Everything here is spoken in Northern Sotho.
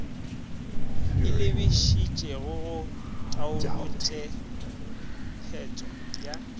e lebišitšego go taolotshepetšo ya